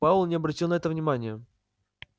пауэлл не обратил на это внимания